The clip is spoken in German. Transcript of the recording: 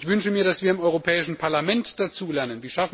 Ich wünsche mir, dass wir im Europäischen Parlament dazulernen.